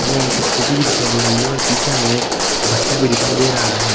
मे एक स्कूटी भी दिखाई दे रही है और पीछे हमें एक भट्ठा भी दिखाई दे रहा है।